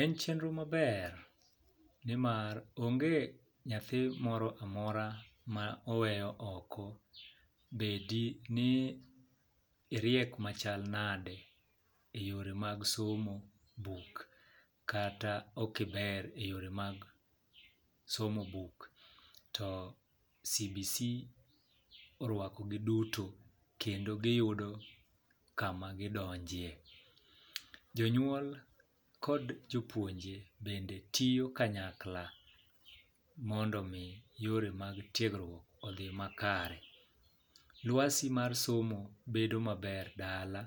En chenro maber ni mar onge nyathi moro amora ma oweyo oko bedi ni iriek machal nade eyore mag somo buk kata ok iber eyore mag somo buk to CBC oruakogi duto kendo gi yudo kama gi donjie. Jonyuol kod jopuonje bende tiyo kanyakla mondo mi yore mag tiegruok odhi makare. Lwasi mar somo bedo maber dala